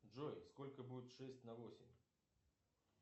джой сколько будет шесть на восемь